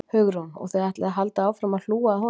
Hugrún: Og þið ætlið að halda áfram að, að hlúa að honum?